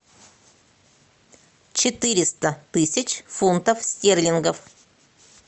четыреста тысяч фунтов стерлингов